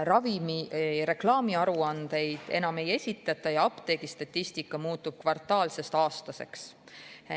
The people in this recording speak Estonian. Ravimireklaami aruandeid enam ei esitata ja apteegistatistika muutub kvartaalsest aastaseks.